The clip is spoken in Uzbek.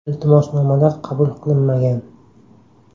Iltimosnomalar qabul qilinmagan.